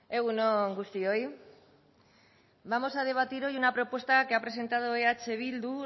egun on guztioi vamos a debatir hoy una propuesta que ha presentado eh bildu